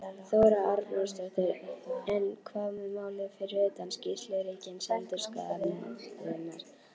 Þóra Arnórsdóttir: En hvað með málið fyrir utan skýrslu ríkisendurskoðunar?